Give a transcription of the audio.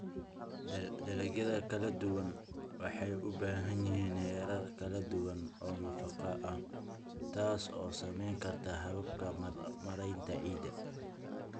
Dalagyada kala duwani waxay u baahan yihiin heerar kala duwan oo nafaqo ah, taas oo saameyn karta hababka maaraynta ciidda.